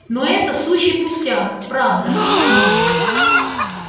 но это сущий пустяк правда